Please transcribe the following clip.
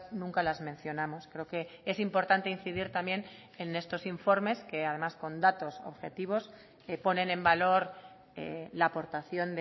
nunca las mencionamos creo que es importante incidir también en estos informes que además con datos objetivos ponen en valor la aportación